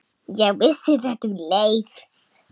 Ég vissi þetta um leið.